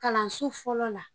Kalanso fɔlɔ la